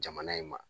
Jamana in ma